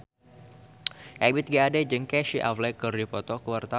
Ebith G. Ade jeung Casey Affleck keur dipoto ku wartawan